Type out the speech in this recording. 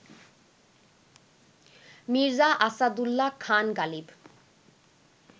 Mirza Asadullah Khan Ghalib